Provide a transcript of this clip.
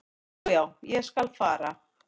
"""Já, já, ég skal fara."""